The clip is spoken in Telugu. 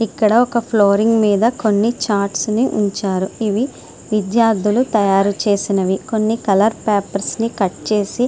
ఇక్కడ ఒక ఫ్లోరింగ్ మీద కొన్ని ఛార్ట్స్ ని ఉంచారు ఇవి విద్యార్థులు తయారు చేసినవి కొన్ని కలర్ పేపర్స్ ని కట్ చేసి --